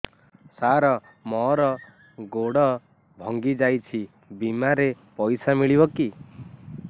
ସାର ମର ଗୋଡ ଭଙ୍ଗି ଯାଇ ଛି ବିମାରେ ପଇସା ମିଳିବ କି